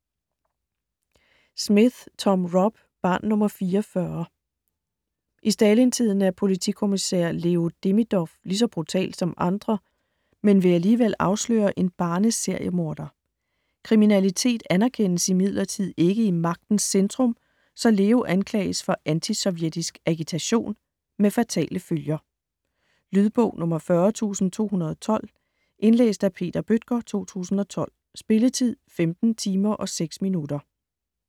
Smith, Tom Rob: Barn nr. 44 I Stalintiden er politikommissær Leo Demidov lige så brutal som andre, men vil alligevel afsløre en barne-seriemorder. Kriminalitet anerkendes imidlertid ikke i Magtens Centrum, så Leo anklages for antisovjetisk agitation - med fatale følger... Lydbog 40212 Indlæst af Peter Bøttger, 2012. Spilletid: 15 timer, 6 minutter.